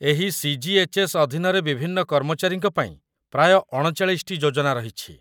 ଏହି ସି.ଜି.ଏଚ୍.ଏସ୍. ଅଧୀନରେ ବିଭିନ୍ନ କର୍ମଚାରୀଙ୍କ ପାଇଁ ପ୍ରାୟ ୩୯ ଟି ଯୋଜନା ରହିଛି।